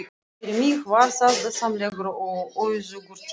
Fyrir mig var það dásamlegur og auðugur tími.